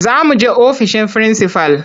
Za muje ofishin frinsifal.